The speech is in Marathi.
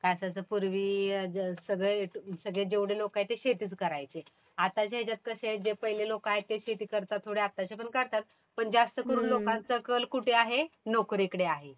काय असायचं पूर्वी सगळे जेवढे लोकं आहेत ते शेतीच करायचे. आताच्या याच्यात कशे आहेत जे पहिले लोकं आहेत ते शेती करतात थोडे. आताचे पण करतात. पण जास्तकरून लोकांचा कल कुठे आहे? नोकरीकडे आहे.